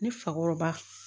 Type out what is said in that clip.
Ne fakɔrɔba